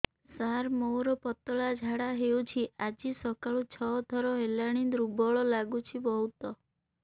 ସାର ମୋର ପତଳା ଝାଡା ହେଉଛି ଆଜି ସକାଳୁ ଛଅ ଥର ହେଲାଣି ଦୁର୍ବଳ ଲାଗୁଚି ବହୁତ